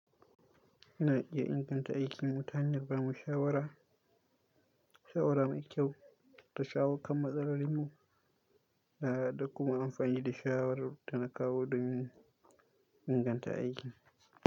Ina iya inganta aikinmu ta hanyar ba mu shawara, shawara mai kyau ta shawo kan matsalolinmu, da kuma amfani da shawarar dana kawo domin inganta aiki.